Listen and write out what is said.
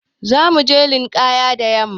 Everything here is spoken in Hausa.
Za mu je linƙaya da yamma.